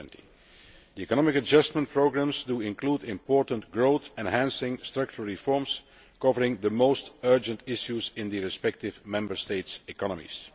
2020. The economic adjustment programmes include important growth enhancing structural reforms covering the most urgent issues in the respective Member States' economies.